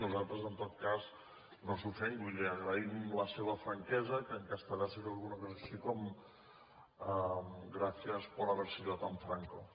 nosaltres en tot cas no s’ofengui li agraïm la seva franquesa que en castellà seria alguna cosa així com gracias por haber sido tan franco